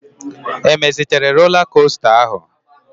E mezitere rola kosta áhụ̀?